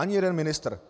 Ani jeden ministr!